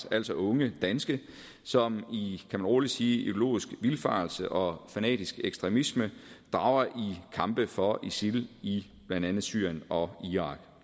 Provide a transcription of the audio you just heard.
altså unge danske som i kan man rolig sige ideologisk vildfarelse og fanatisk ekstremisme drager i kampe for isil i blandt andet syrien og irak